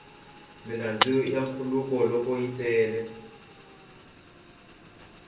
milambu ya khuluka loko yi tele